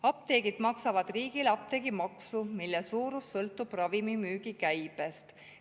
Apteegid maksavad riigile apteegimaksu, mille suurus sõltub ravimimüügi käibest.